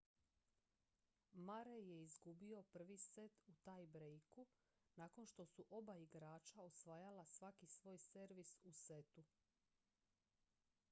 murray je izgubio prvi set u tie-breaku nakon što su oba igrača osvajala svaki svoj servis u setu